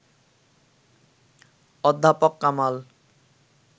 অধ্যাপক কামাল